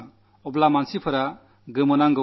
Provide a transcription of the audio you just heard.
ആളുകൾ ആശ്ചര്യപ്പെട്ടു